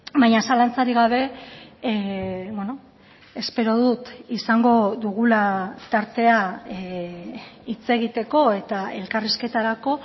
baina zalantzarik gabe espero dut izango dugula tartea hitz egiteko eta elkarrizketarako